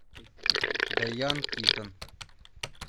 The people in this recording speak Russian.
дайан китон